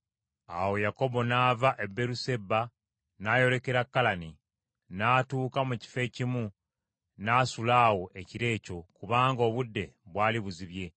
Awo Yakobo n’ava e Beeruseba n’ayolekera Kalani. N’atuuka mu kifo ekimu, n’asula awo ekiro ekyo, kubanga obudde bwali buzibye.